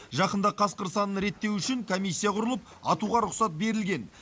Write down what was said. жақында қасқыр санын реттеу үшін комиссия құрылып атуға рұқсат берілген